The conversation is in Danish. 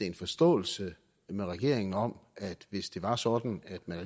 en forståelse med regeringen om at hvis det var sådan at man